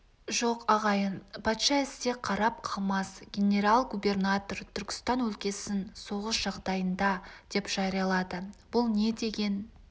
жоқ ағайын патша әсте қарап қалмас генерал-губернатор түркістан өлкесін соғыс жағдайында деп жариялады бұл не деген